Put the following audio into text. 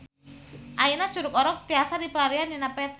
Ayeuna Curug Orok tiasa dipilarian dina peta